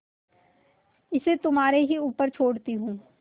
इसे तुम्हारे ही ऊपर छोड़ती हूँ